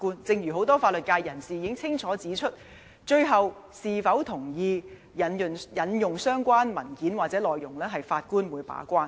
正如很多法律界人士已經清楚指出，最後是否同意引用相關文件或內容將會由法官把關。